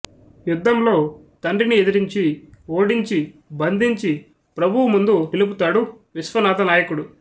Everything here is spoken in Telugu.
యుధ్దంలో తండ్రిని ఎదిరించి ఓడించి బంధించి ప్రభువు ముందు నిలుపుతాడు విశ్వనాధనాయకుడు